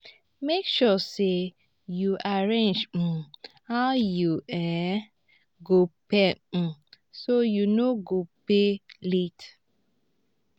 mek sure say yu arrange um how yu um um go pay um so yu no go pay late.